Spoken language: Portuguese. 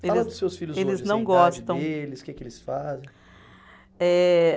Fala dos seus filhos hoje, assim a idade deles, que que eles fazem. Eh